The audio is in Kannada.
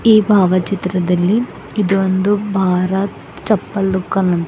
ಈ ಭಾವಚಿತ್ರದಲ್ಲಿ ಇದು ಒಂದು ಭಾರತ್ ಚಪ್ಪಲ ದುಖಾನ--